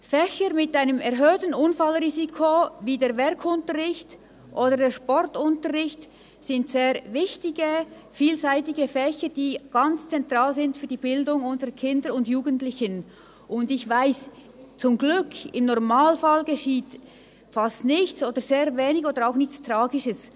Fächer mit einem erhöhten Unfallrisiko wie der Werk- oder der Sportunterricht sind sehr wichtige, vielseitige Fächer, die für die Bildung unserer Kinder und Jugendlichen ganz zentral sind, und ich weiss, zum Glück geschieht im Normalfall fast nichts, sehr wenig oder auch nichts Tragisches.